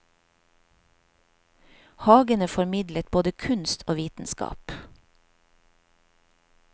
Hagene formidlet både kunst og vitenskap.